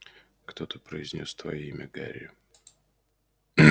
кто-то произнёс твоё имя гарри